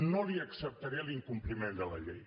no li acceptaré l’incompliment de la llei